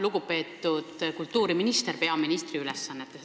Lugupeetud kultuuriminister peaministri ülesannetes!